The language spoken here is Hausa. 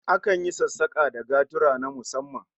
Akan yi sassaka da gaturra na musamman